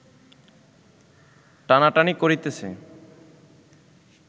টানাটানি করিতেছে